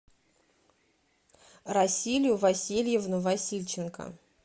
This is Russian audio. расилю васильевну васильченко